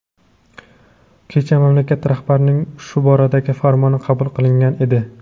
kecha mamlakat rahbarining shu boradagi farmoni qabul qilingan edi.